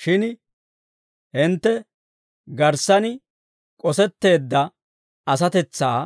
Shin hintte garssan k'osetteedda asatetsaa